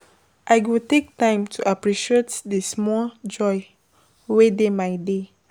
I go take time to appreciate the small joys wey dey my day.